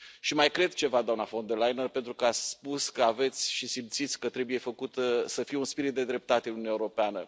Mai cred ceva, doamnă von der Leyen, pentru că ați spus că aveți și simțiți că trebuie să fie un spirit de dreptate în Uniunea Europeană.